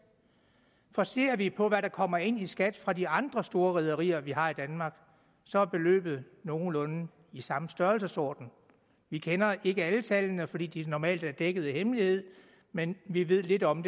for ser vi på hvad der kommer ind i skat fra de andre store rederier vi har i danmark så er beløbet nogenlunde i samme størrelsesorden vi kender ikke alle tallene fordi de normalt er dækket af hemmelighed men vi ved lidt om